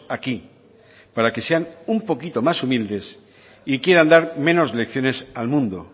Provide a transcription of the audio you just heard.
aquí para que sean un poquito más humildes y quieran dar menos lecciones al mundo